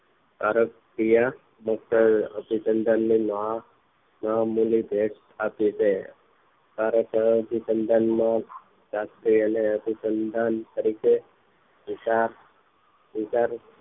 કારક થયા મુક્ત અભિસંધાન ને મહા મુલિત આપી દે આ અબીસંધાન માં સાથે અને અભિસંધાન તરીકે વિચાર વિચાર